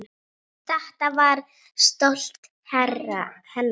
Þetta hár var stolt hennar.